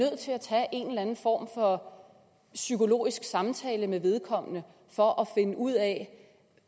form for psykologisk samtale med vedkommende for at finde ud af